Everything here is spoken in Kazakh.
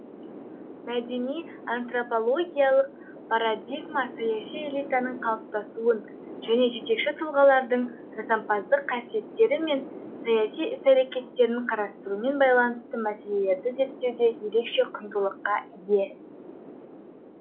мәдени антропологиялық парадигма саяси элитаның калыптасуын және жетекші тұлғалардың жасампаздық қасиеттері мен саяси іс әрекеттерін карастырумен байланысты мәселелерді зерттеуде ерекше құндылықка ие